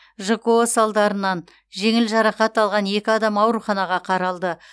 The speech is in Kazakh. жко салдарынан жеңіл жарақат алған екі адам ауруханаға қаралды